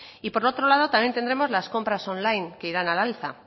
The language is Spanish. y por otro lado también tendremos las compras online que irán al alza